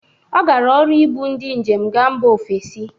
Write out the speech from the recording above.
Ọ gara ọrụ ibụ ndị njem gaa mba ofesi